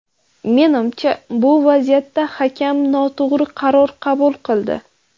Menimcha, bu vaziyatda hakam noto‘g‘ri qaror qabul qildi.